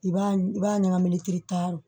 I b'a i b'a ɲagami